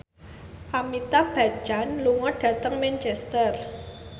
Amitabh Bachchan lunga dhateng Manchester